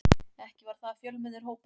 Ekki var það fjölmennur hópur.